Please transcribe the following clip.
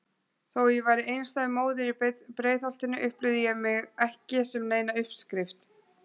Þó ég væri einstæð móðir í Breiðholtinu upplifði ég mig ekki sem neina uppskrift.